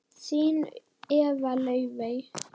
Þín Eva Laufey.